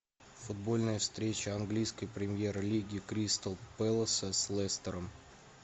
футбольная встреча английской премьер лиги кристал пэласа с лестером